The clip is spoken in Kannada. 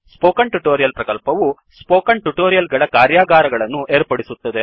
ಸ್ಪೋಕನ್ ಟ್ಯುಟೋರಿಯಲ್ ಪ್ರಕಲ್ಪವು ಸ್ಪೋಕನ್ ಟ್ಯುಟೋರಿಯಲ್ ಗಳ ಕಾರ್ಯಾಗಾರಗಳನ್ನು ಏರ್ಪಡಿಸುತ್ತದೆ